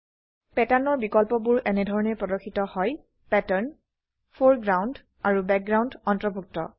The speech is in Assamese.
Patternৰ বিকল্পবোৰ এনেধৰনে প্ৰৰ্দশিত হয় পেটাৰ্ন ফৰেগ্ৰাউণ্ড আৰু বেকগ্ৰাউণ্ড অন্তৰ্ভুক্ত